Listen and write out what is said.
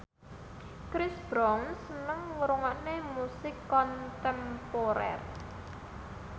Chris Brown seneng ngrungokne musik kontemporer